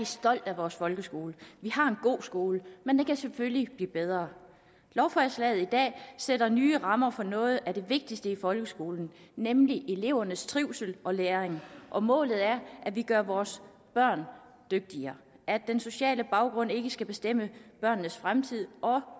stolt af vores folkeskole vi har en god skole men den kan selvfølgelig blive bedre lovforslaget i dag sætter nye rammer for noget af det vigtigste i folkeskolen nemlig elevernes trivsel og læring og målet er at vi gør vores børn dygtigere at den sociale baggrund ikke skal bestemme børnenes fremtid